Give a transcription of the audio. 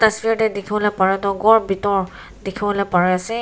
sweater dikhibole para tu ghor bithor dikhi bole para ase.